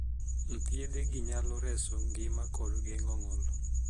Thiedhe gi nyalo reso ngima kod geng;o ngol